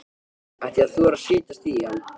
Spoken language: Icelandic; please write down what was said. Ætti ég að þora að setjast í hann?